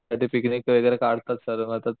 picnic वैगेरे काढतात sir